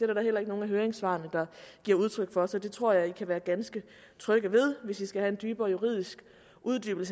da heller ikke nogen af høringssvarene der giver udtryk for så det tror jeg kan være ganske trygge ved hvis man skal have en dybere juridisk uddybning